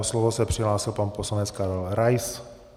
O slovo se přihlásil pan poslanec Karel Rais.